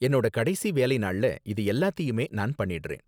என்னோட கடைசி வேலை நாள்ல இது எல்லாத்தையுமே நான் பண்ணிடுறேன்.